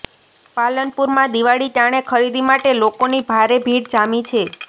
પાલનપુરમાં દિવાળી ટાણે ખરીદી માટે લોકોની ભારે ભીડ જામી છે